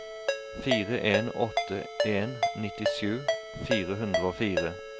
fire en åtte en nittisju fire hundre og fire